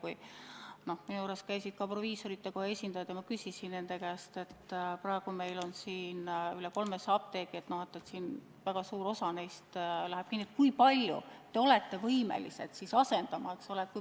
Kui minu juures käisid proviisorite koja esindajad, siis ma küsisin nende käest, et praegu on meil üle 300 apteegi ja kui väga suur osa neist läheb kinni, kui palju nad on siis võimelised asendama.